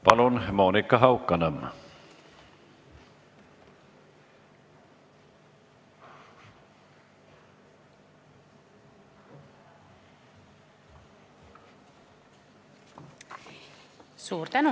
Palun, Monika Haukanõmm!